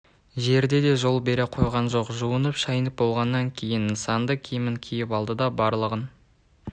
жердеде жол бере қойған жоқ жуынып шайынып болғаннан кейін нысанды киімін киіп алды да барлығын